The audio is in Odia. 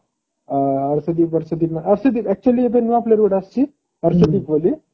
ଆ actually ଏବେ ନୂଆ player ଗୋଟେ ଆସିଛି RCB କୋହଲି